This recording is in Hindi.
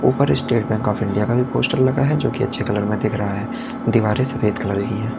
ऊपर स्टेट बैंक ऑफ़ इंडिया का भी पोस्टर लगा हुआ है जो कि अच्छे कलर में दिख रहा है दीवारे सफेद कलर की हैं।